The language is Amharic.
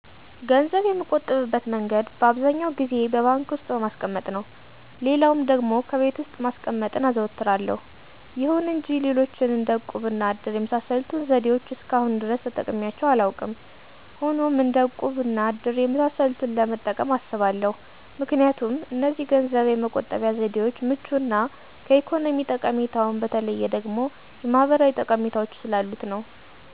ገንዘብ የምቆጥብበት መንገድ በአብዛኛው ጊዜ በባንክ ዉስጥ በማስቀመጥ ነው። ሌላውም ደግሞ ከቤት ውስጥ ማስቀመጥን አዘወትራለሁ፤ ይሁን እንጂ ሌሎችን እንደ እቁብ እና እድር የመሳሰሉትን ዘዴዎች እስከአሁን ድረስ ተጠቅሜያቸው አላውቅም። ሆኖም እንደ እቁብ እና እድር የመሳሰሉትን ለመጠቀም አስባለሁ ምክንያቱም እነዚህ ገንዘብ የመቆጠቢያ ዘዴዎች ምቹ እና ከኢኮኖሚ ጠቀሜታውም በተለየ ደግሞ የማህበራዊ ጠቀሜታዎች ስላሉት ነው።